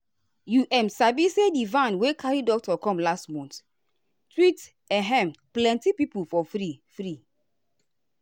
you um sabi say di van wey carry doctor come last month treatehm plenty people for free. free.